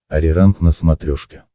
ариранг на смотрешке